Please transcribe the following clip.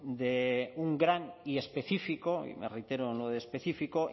de un gran y específico y me reitero en lo de específico